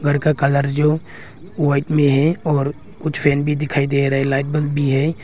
घर का कलर जो वाइट में है और कुछ फैन भी दिखाई दे रहे लाइट बल भी है।